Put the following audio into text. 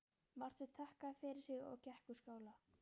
Marteinn þakkaði fyrir sig og gekk úr skála.